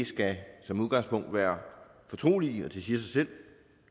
skal som udgangspunkt være fortrolige det siger sig selv